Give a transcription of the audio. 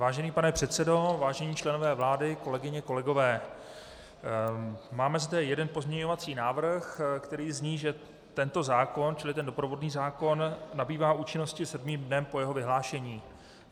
Vážený pane předsedo, vážení členové vlády, kolegyně, kolegové, máme zde jeden pozměňovací návrh, který zní, že tento zákon, tedy ten doprovodný zákon, nabývá účinnosti sedmým dnem po jeho vyhlášení.